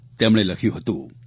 તેમણે લખ્યું હતું